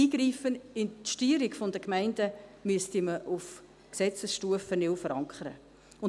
Ein Eingreifen in die Steuerung der Gemeinden müsste man auf Gesetzesstufe neu verankern.